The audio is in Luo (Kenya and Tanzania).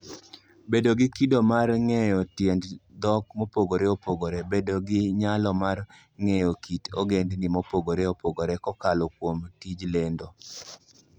Bedo gi Kido mar Ng'eyo Tiend Dhok Mopogore Opogore: Bedo gi nyalo mar ng'eyo kit ogendini mopogore opogore kokalo kuom tij lendo.